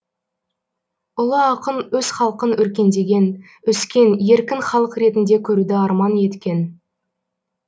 ұлы ақын өз халқын өркендеген өскен еркін халық ретінде көруді арман еткен